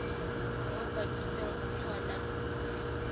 bo a kwadisitswe go kgona